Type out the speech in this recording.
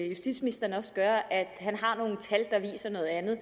justitsministeren også gør at han har nogle tal der viser noget andet